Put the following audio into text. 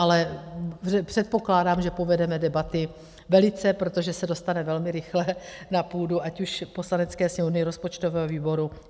Ale předpokládám, že povedeme debaty velice, protože se dostane velmi rychle na půdu, ať už Poslanecké sněmovny, rozpočtového výboru.